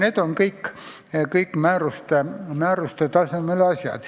Need on kõik määruste tasemel otsused.